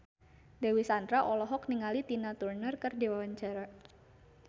Dewi Sandra olohok ningali Tina Turner keur diwawancara